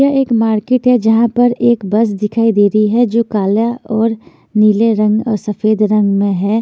यह एक मार्केट है जहां पर एक बस दिखाई दे रही है जो काल्या और नीले रंग अ सफेद रंग में है।